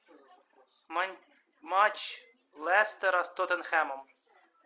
матч лестера с тоттенхэмом